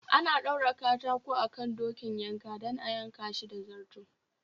Ana ɗaura katako akan dokin yanka dan a yanka Shi da zarto